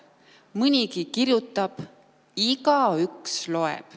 Mõnigi kirjutab, igaüks loeb.